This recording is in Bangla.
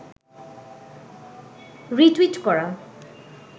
রি-টুইট করা